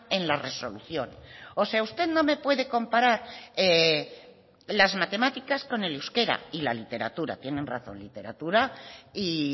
en la resolución o sea usted no me puede comparar las matemáticas con el euskera y la literatura tienen razón literatura y